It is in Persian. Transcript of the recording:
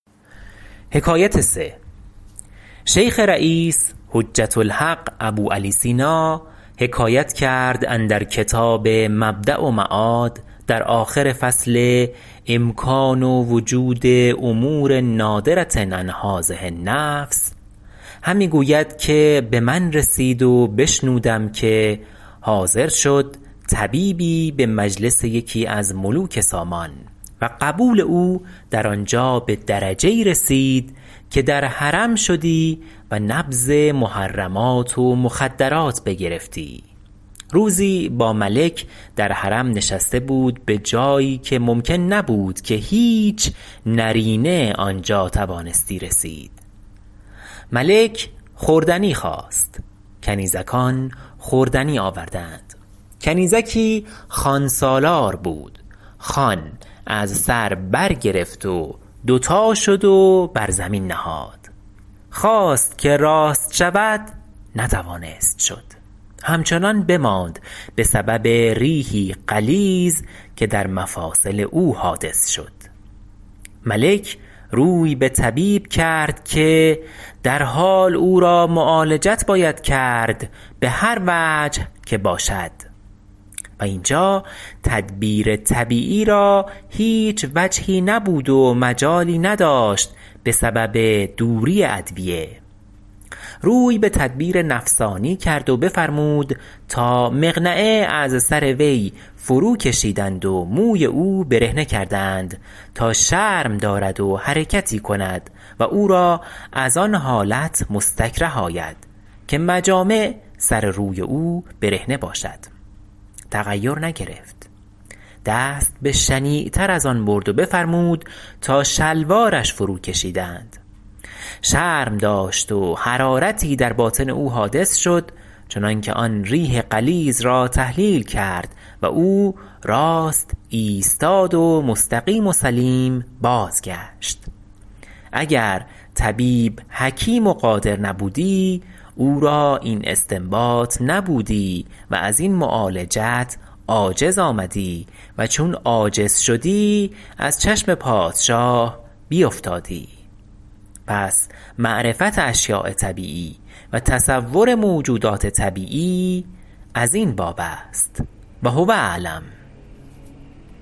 شیخ رییس حجة الحق ابوعلی سینا حکایت کرد اندر کتاب مبدأ و معاد در آخر فصل امکان وجود امور نادرة عن هذه النفس همی گوید که به من رسید و بشنودم که حاضر شد طبیبی به مجلس یکی از ملوک سامان و قبول او در آنجا به درجه ای رسید که در حرم شدی و نبض محرمات و مخدرات بگرفتی روزی با ملک در حرم نشسته بود به جایی که ممکن نبود که هیچ نرینه آنجا توانستی رسید ملک خوردنی خواست کنیزکان خوردنی آوردند کنیزکی خوانسالار بود خوان از سر بر گرفت و دو تا شد و بر زمین نهاد خواست که راست شود نتوانست شد همچنان بماند به سبب ریحی غلیظ که در مفاصل او حادث شد ملک روی به طبیب کرد که در حال او را معالجت باید کرد به هر وجه که باشد و اینجا تدبیر طبیعی را هیچ وجهی نبود و مجالی نداشت به سبب دوری ادویه روی به تدبیر نفسانی کرد و بفرمود تا مقنعه از سر وی فرو کشیدند و موی او برهنه کردند تا شرم دارد و حرکتی کند و او را آن حالت مستکره آید که مجامع سر و روی او برهنه باشد تغیر نگرفت دست به شنیع تر از آن برد و بفرمود تا شلوارش فرو کشیدند شرم داشت و حرارتی در باطن او حادث شد چنان که آن ریح غلیظ را تحلیل کرد و او راست ایستاد و مستقیم و سلیم بازگشت اگر طبیب حکیم و قادر نبودی او را این استنباط نبودی و از این معالجت عاجز آمدی و چون عاجز شدی از چشم پادشاه بیفتادی پس معرفت اشیاء طبیعی و تصور موجودات طبیعی از این باب است و هو اعلم